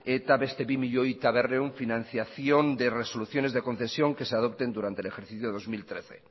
eta beste bi milioi eta berrehun financiación de resoluciones de concesión que se adopten durante el ejercicio dos mil trece